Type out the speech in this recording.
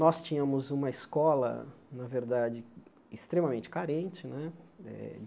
Nós tínhamos uma escola, na verdade, extremamente carente, né? Eh